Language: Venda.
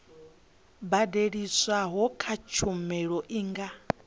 badeliswaho kha tshumelo i nga